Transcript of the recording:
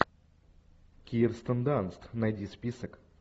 кирстен данст найди список